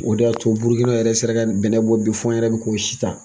O de y'a to Burukina yɛrɛ sera ka bɛnnɛ bɔ bi f'an yɛrɛ bi k'o si san.